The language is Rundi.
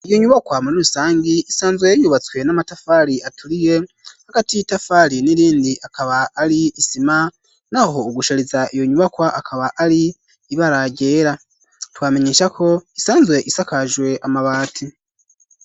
Iyo nyubakwa muri rusangi isanzwe yubatswe n'amatafari aturiye hagati y'itafari n'irindi akaba ari isima naho ugushariza iyo nyubakwa akaba ari ibara ryera twamenyeshako isanzwe isakajwe amabati.